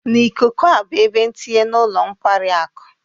N'ikuku a bụ ebe ntinye na ụlọ nkwari akụ